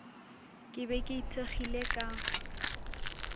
ke be ke ithekgile ka